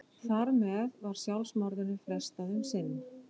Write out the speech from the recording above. Þar með var sjálfsmorðinu frestað um sinn.